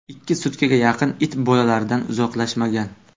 Ikki sutkaga yaqin it boladan uzoqlashmagan.